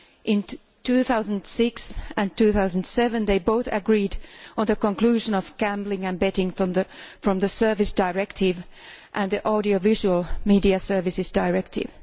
In 2006 and 2007 they both agreed on the exclusion of gambling and betting from the Services Directive and the Audiovisual Media Services Directive.